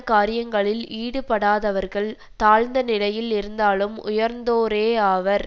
காரியங்களில் ஈடுபடாதவர்கள் தாழ்ந்த நிலையில் இருந்தாலும் உயர்ந்தோரேஆவர்